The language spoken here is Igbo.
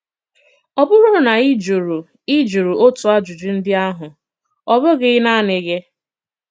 Ọ̀ bùrù na ị jụrụ ị jụrụ otu àjùjù ndị àhụ, ọ̀ bụ̀ghị̀ nanị gị.